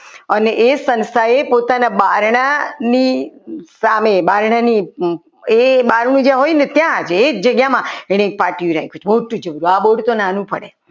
અને એ સંસ્થાએ પોતાના બારનાની સામે બારણા ની એ જેમાં જે હોય ને એ જ જગ્યામાં એને પાટિયું રાખ્યું હતું મોટું આ board તો નાનું પડે